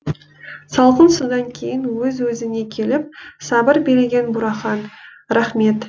салқын судан кейін өз өзіне келіп сабыр билеген бурахан рахмет